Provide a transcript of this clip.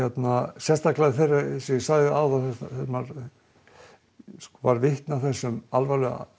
sérstaklega þegar maður varð vitni að þessum alvarlegu